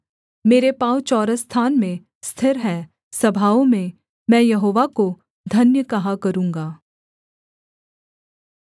मेरे पाँव चौरस स्थान में स्थिर है सभाओं में मैं यहोवा को धन्य कहा करूँगा